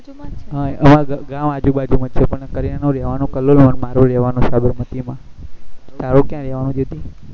અમાર ગામ આજુબાજુ માં છે પણ કરીના નું રેહવાનું કલોલ માં અને મારું રેહવાનું સાબરમતી માં તારું ક્યાં રેહવાનું